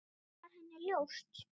Það var henni ljóst.